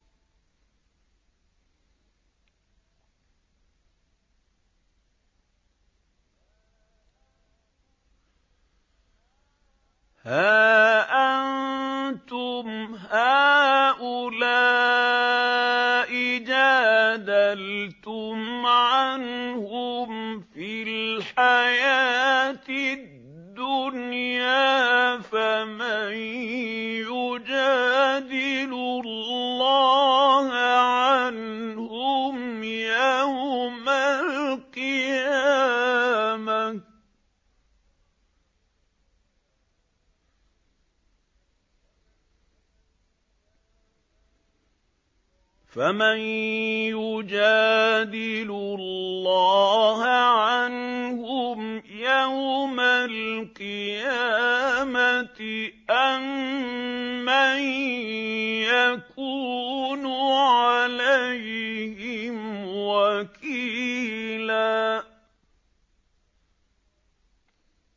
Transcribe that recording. هَا أَنتُمْ هَٰؤُلَاءِ جَادَلْتُمْ عَنْهُمْ فِي الْحَيَاةِ الدُّنْيَا فَمَن يُجَادِلُ اللَّهَ عَنْهُمْ يَوْمَ الْقِيَامَةِ أَم مَّن يَكُونُ عَلَيْهِمْ وَكِيلًا